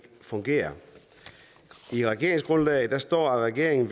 fungerer i regeringsgrundlaget står at regeringen